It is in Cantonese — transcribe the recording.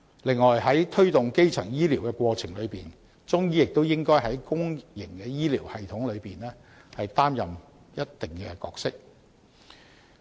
此外，在推動基層醫療的過程中，中醫亦應在公營醫療系統中擔當一定角色。